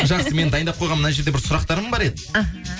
жақсы менің дайындап қойған мына жерде бір сұрақтарым бар еді іхі